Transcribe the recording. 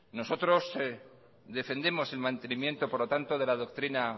nosotros defendemos el mantenimiento por lo tanto de la doctrina